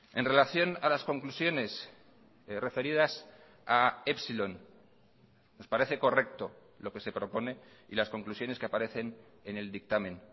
en relación a las conclusiones referidas a epsilon nos parece correcto lo que se propone y las conclusiones que aparecen en el dictamen